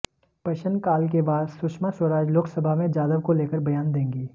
प्रश्न काल के बाद सुषमा स्वराज लोकसभा में जाधव को लेकर बयान देंगी